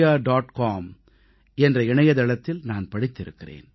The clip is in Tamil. com என்ற இணையதளத்தில் நான் படித்திருக்கிறேன்